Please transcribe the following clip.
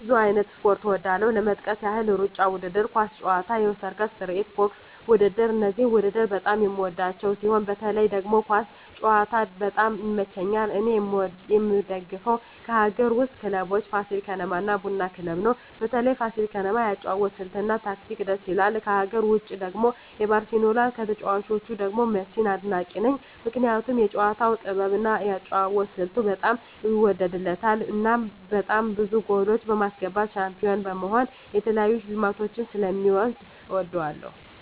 ብዙ አይነት ስፖርት እወዳለሁ ለመጥቀስ ያህል እሩጫ ውድድር፣ ኳስ ጨዋታ፣ የሰርከስ ትርኢት፣ ቦክስ ውድድር እነዚህን ውድድር በጣም የምወዳቸው ሲሆን በተለይ ደግሞ ኳስ ጨዋታ በጣም ይመቸኛል እኔ የምደግፈው ከአገር ውስጥ ክለቦች ፋሲል ከነማ እና ቡና ክለብ ነው በተለይ ፋሲል ከነማ የአጨዋወት ስልት እና ታክቲኩ ድስ ይላል ከሀገር ውጭ ደግሞ ባርሴሎና ከተጫዋቾቹ ደግሞ ሜሲን አድናቂ ነኝ ምክንያቱም የጨዋታው ጥበብ እና የአጨዋወት ስልቱ በጣም ይወደድለታል እናም በጣም ብዙ ጎሎች በማስገባት ሻንፒሆን በመሆን የተለያዩ ሽልማቶችን ስለ ሚወስድ እወደዋለሁ።